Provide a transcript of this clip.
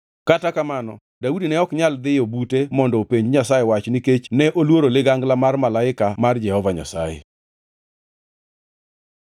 Kata kamano, Daudi ne ok nyal dhiyo bute mondo openj Nyasaye nikech ne oluoro ligangla mar malaika mar Jehova Nyasaye.